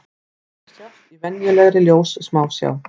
Þeir sjást í venjulegri ljóssmásjá.